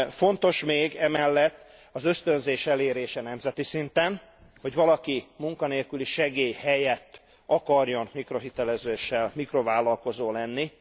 Fontos még emellett az ösztönzés elérése nemzeti szinten, hogy valaki munkanélküli segély helyett akarjon mikrohitelezéssel mikrovállakozó lenni.